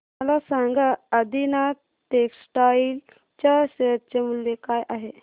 मला सांगा आदिनाथ टेक्स्टटाइल च्या शेअर चे मूल्य काय आहे